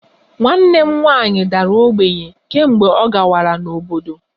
Nwanne m nwanyị dara ogbenye kemgbe ọ kwagara n'obodo